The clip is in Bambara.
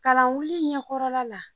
Kalanwuli ɲɛkɔrɔla la